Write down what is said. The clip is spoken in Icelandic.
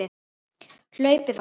hlaupið á sig?